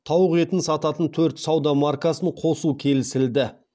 тауық етін сататын төрт сауда маркасын қосу келісілді